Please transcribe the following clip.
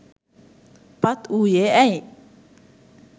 පත් වූයේ ඇයි?